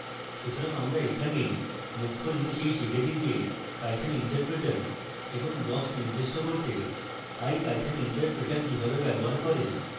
সুতরাং আমরা এখানে মুখ্য জিনিস এই শিখেছি যে python interpreter এবং blocks নির্দিষ্ট করতে ipython interpreter কিভাবে ব্যবহার করে